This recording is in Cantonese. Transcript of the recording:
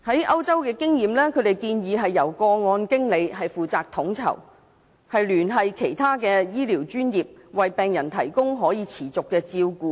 以歐洲經驗為例，由個案經理負責統籌，聯繫其他醫療專業，為病人提供可持續的照顧。